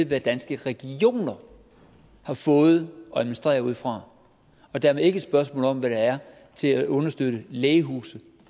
hvad danske regioner har fået at administrere ud fra og dermed ikke et spørgsmål om hvad der er til at understøtte lægehuse